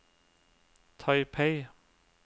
Taipei